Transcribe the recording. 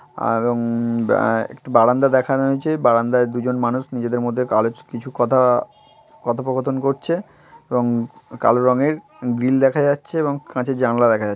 আহ রঙ আহ বারান্দা দেখানো হয়েচ্ছে। বারান্দায় দুজন মানুষ নিজেদের মধ্যে কিছু কথা কথোপকথান করছে এবং কালো রঙের গ্রিল দেখা যাচ্ছে এবং কাঁচের জানলা দেখা যাচ্ছে ।